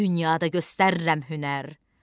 Dünyada göstərirəm hünər.